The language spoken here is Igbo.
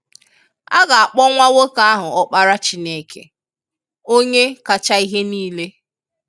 A ga-akpọ nwa nwoke ahụ Ọkpara Chineke, onye kacha ihe niile.